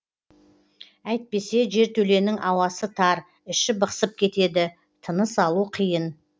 әйтпесе жертөленің ауасы тар іші бықсып кетеді тыныс алу қиын